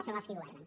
són els qui governen